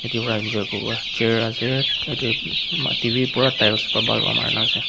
yete vra enjoy kurivo chair ase yete mati b pura tiles pera bhal pera mari kina ase.